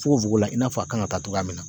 Fogofogo i n'a fɔ a kan ŋa taa cogoya min na